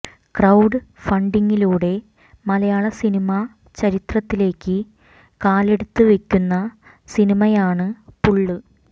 crowd ഫണ്ടിംഗിലൂടെ മലയാള cinema ചരിത്രത്തിലേക്ക് കാലെടുത്ത് വെക്കുന്ന സിനിമയാണ് പുള്ള്